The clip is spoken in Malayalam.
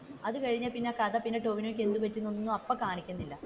അത് കഴിഞ്ഞു പിന്നെ കഥയിൽ ടോവിനോക്ക് എന്ത് പറ്റിയൊന്നും, അപ്പ കാണിക്കുന്നില്ല